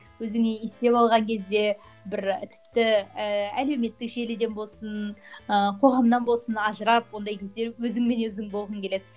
өзіңнен есеп алған кезде бір тіпті ііі әлеуметтік желіден болсын ы қоғамнан болсын ажырап ондай кезде өзіңмен өзің болғың келеді